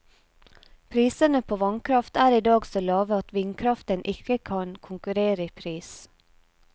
Prisene på vannkraft er i dag så lave at vindkraften ikke kan konkurrere i pris.